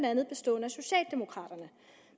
andet bestående af socialdemokraterne